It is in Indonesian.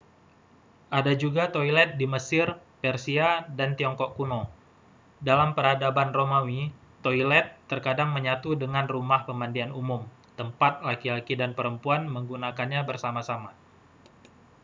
ada juga toilet di mesir persia dan tiongkok kuno dalam peradaban romawi toilet terkadang menyatu dengan rumah pemandian umum tempat laki-laki dan perempuan menggunakannya bersama-sama